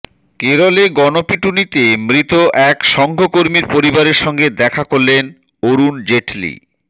কেরলে গণপিটুনিতে মৃত এক সঙ্ঘ কর্মীর পরিবারের সঙ্গে দেখা করলেন অরুণ জেটলি